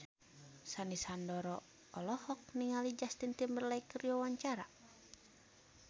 Sandy Sandoro olohok ningali Justin Timberlake keur diwawancara